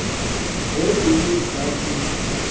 ge e le nna ke